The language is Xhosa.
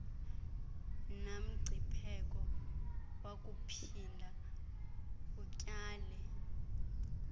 namngcipheko wakuphinda utyale